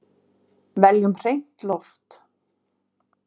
Veljum hreint loft!